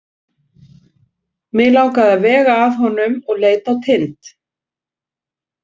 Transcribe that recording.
Mig langaði að vega að honum og leit á Tind.